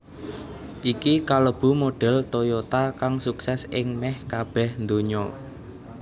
Iki kalebu modhel Toyota kang sukses ing meh kabeh ndonya